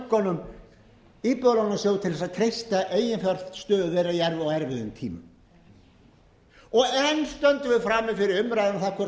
bönkunum íbúðalánasjóð til að treysta eiginfjárstöðu þeirra á erfiðum tímum enn stöndum við frammi fyrir umræðum um